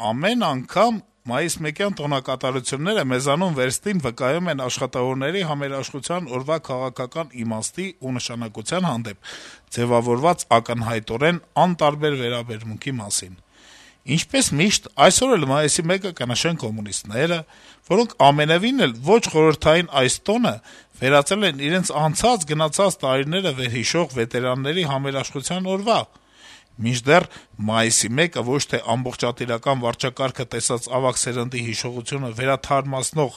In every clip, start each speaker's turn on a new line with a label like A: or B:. A: «Ամեն անգամ մայիսմեկյան տոնակատարությունները մեզանում վերստին վկայում են աշխատավորների համերաշխության օրվա քաղաքական իմաստի ու նշանակության հանդեպ ձեւավորված ակնհայտորեն անտարբեր վերաբերմունքի մասին։ Ինչպես միշտ, այսօր էլ Մայիսի 1-ը կնշեն կոմունիստները, որոնք ամենեւին էլ ոչ խորհրդային այս տոնը վերածել են իրենց անցած-գնացած տարիները վերհիշող վետերանների «համերաշխության օրվա»։ Մինչդեռ Մայիսի 1-ը ոչ թե ամբողջատիրական վարչակարգը տեսած ավագ սերնդի հիշողությունը վերաթարմացնող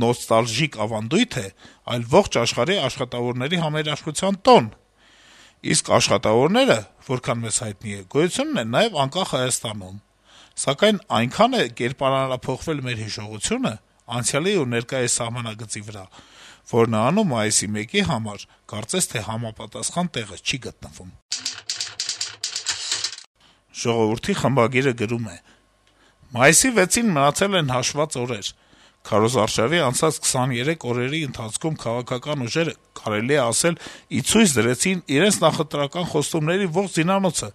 A: «նոստալժիկ ավանդույթ» է, այլ ողջ աշխարհի աշխատավորների համերաշխության տոն։ Իսկ աշխատավորներ, որքան մեզ հայտնի է, գոյություն ունեն նաեւ անկախ Հայաստանում։ Սակայն այնքան է կերպարանափոխվել մեր հիշողությունը՝ անցյալի ու ներկայիս սահմանագծի վրա, որ նրանում Մայիսի 1-ի համար կարծես թե համապատասխան տեղ չի գտնվում»։ «Ժողովուրդ»-ի խմբագիրը գրում է. - «Մայիսի 6-ին մնացել են հաշված օրեր: Քարոզարշավի անցած 23 օրերի ընթացքում քաղաքական ուժերը կարելի է ասել ի ցույց դրեցին իրենց նախընտրական խոստումների ողջ զինանոցը`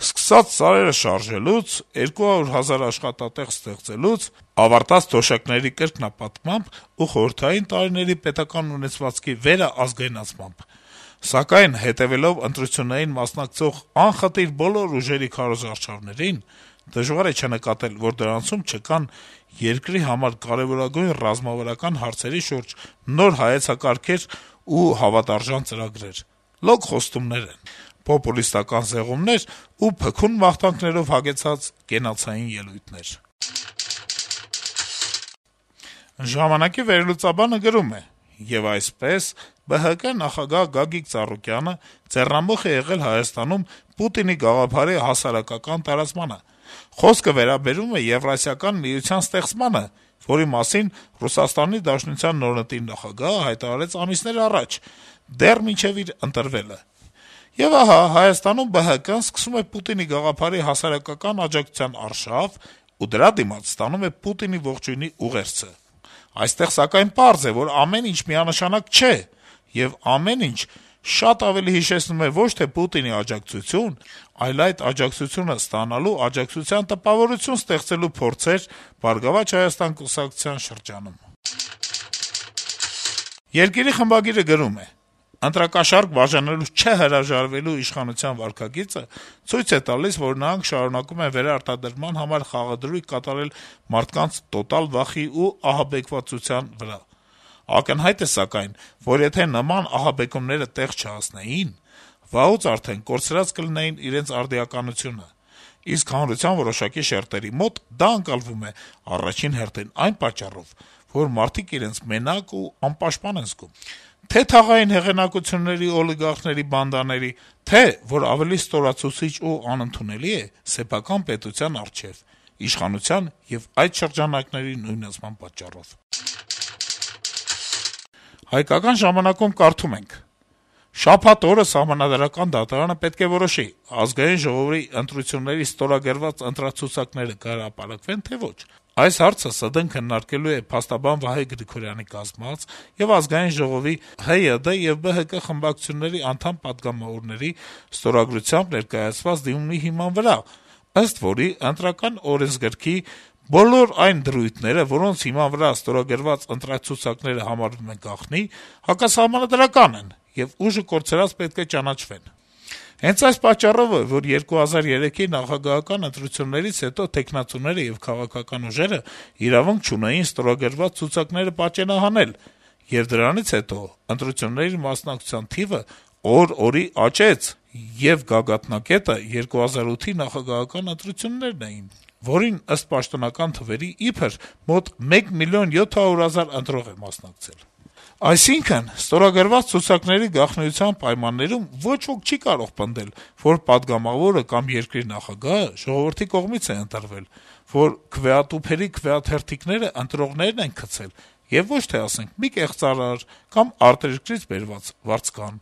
A: սկսած սարերը շարժելուց, 200 հազար աշխատատեղ ստեղծելուց, ավարտած թոշակների կրկնապատկմամբ ու խորհրդային տարիների պետական ունեցվածքի վերաազգայնացմամբ: Սակայն հետեւելով ընտրություններին մասնակցող անխտիր բոլոր ուժերի քարոզարշավներին` դժվար է չնկատել, որ դրանցում չկան երկրի համար կարեւորագույն ռազմավարական հարցերի շուրջ նոր հայեցակարգեր ու հավատարժան ծրագրեր: Լոկ խոստումներ են, պոպուլիստական զեղումներ ու փքուն մաղթանքներով հագեցած կենացային ելույթներ»: «Ժամանակ»-ի վերլուծաբանը գրում է. - «Եվ այսպես, ԲՀԿ նախագահ Գագիկ Ծառուկյանը ձեռնամուխ է եղել Հայաստանում Պուտինի գաղափարի հասարակական տարածմանը: Խոսքը վերաբերում է Եվրասիական միության ստեղծմանը, որի մասին ՌԴ նորընտիր նախագահը հայտարարեց ամիսներ առաջ, դեռ մինչեւ իր ընտրվելը: Եվ ահա Հայաստանում, ԲՀԿ-ն սկսում է Պուտինի գաղափարի հասարակական աջակցության արշավ ու դրա դիմաց ստանում Պուտինի ողջույնի ուղերձը: Այստեղ սակայն պարզ է, որ ամեն ինչ միանշանակ չէ, եւ ամեն ինչ շատ ավելի հիշեցնում է ոչ թե Պուտինի աջակցություն, այլ այդ աջակցությունը ստանալու, աջակցության տպավորություն ստեղծելու փորձեր ԲՀԿ շրջանում»: «Երկիր» թերթի խմբագիրը գրում է. - «Ընտրակաշառք բաժանելուց չհրաժարվելու իշխանության վարքագիծը ցույց է տալիս, որ նրանք շարունակում են վերարտադրման համար խաղադրույք կատարել մարդկանց տոտալ վախի ու ահաբեկվածության վրա: Ակնհայտ է, սակայն, որ եթե նման ահաբեկումները տեղ չհասնեին, վաղուց արդեն կորցրած կլինեին իրենց արդիականությունը: Իսկ հանրության որոշակի շերտերի մոտ դա ընկալվում է, առաջին հերթին, այն պատճառով, որ մարդիկ իրենց մենակ ու անպաշտպան են զգում թե՛ թաղային հեղինակությունների ու օլիգարխների բանդաների, թե՛, որ ավելի ստորացուցիչ ու անընդունելի է, սեփական պետության առջեւ` իշխանության եւ այդ շրջանակների նույնացման պատճառով»: «Հայկական ժամանակ»-ում կարդում ենք. -« Շաբաթ օրը ՍԴ-ն պետք է որոշի` ԱԺ ընտրությունների ստորագրված ընտրացուցակները կհրապարակվեն, թե` ոչ: Այս հարցը ՍԴ-ն քննարկելու է փաստաբան Վահե Գրիգորյանի կազմած եւ ԱԺ ՀՅԴ եւ ԲՀԿ խմբակցությունների անդամ պատգամավորների ստորագրությամբ ներկայացված դիմումի հիման վրա, ըստ որի` ԸՕ-ի բոլոր այն դրույթները, որոնց հիման վրա ստորագրված ընտրացուցակները համարվում են գաղտնի, հակասահմանադրական են եւ ուժը կորցրած պետք է ճանաչվեն: Հենց այս պատճառով է, որ 2003-ի նախագահական ընտրություններից հետո թեկնածուները եւ քաղաքական ուժերն իրավունք չունեին ստորագրված ցուցակները պատճենահանել, եւ դրանից հետո ընտրությունների մասնակցության թիվը օր օրի աճեց, եւ գագաթնակետը 2008-ի նախագահական ընտրություններն էին, որին, ըստ պաշտոնական թվերի, իբր, մոտ 1 մլն 700 հազար ընտրող է մասնակցել: Այսինքն, ստորագրված ցուցակների գաղտնիության պայմաններում ոչ ոք չի կարող պնդել, որ պատգամավորը կամ երկրի նախագահը ժողովրդի կողմից է ընտրվել, որ քվեատուփերի քվեաթերթիկները ընտրողներն են գցել եւ ոչ թե, ասենք, մի կեղծարար կամ արտերկրից բերված վարձկան»: